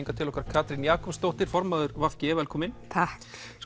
til okkar Katrín Jakobsdóttir formaður v g velkomin takk